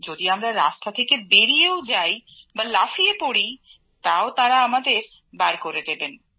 যদি আমরা রাস্তা থেকে বেরিয়েও যাই বা লাফিয়েও পড়ি তাও তাঁরা আমাদের বার করে দেবেন